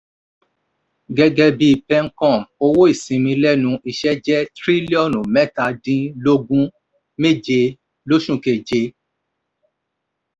gẹ́gẹ́ bí pencom owó ìsinmi lẹ́nu iṣẹ́ jẹ́ tírílíọ̀nù mẹ́ta-dín-lógún-méje l'óṣù keje.